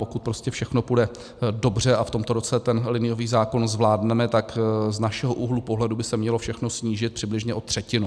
Pokud prostě všechno půjde dobře a v tomto roce ten liniový zákon zvládneme, tak z našeho úhlu pohledu by se mělo všechno snížit přibližně o třetinu.